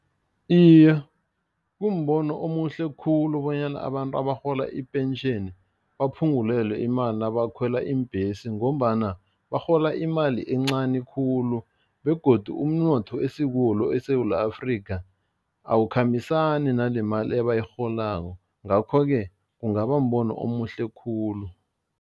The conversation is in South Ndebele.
Iye, kumbono omuhle khulu bonyana abantu abarhola ipentjheni baphungulelwe imali nabakhwela iimbhesi ngombana barhola imali encani khulu begodu umnotho esikuwo lo eSewula Afrika, awukhambisani nalemali ebayirholako ngakho-ke, kungaba mbono omuhle khulu.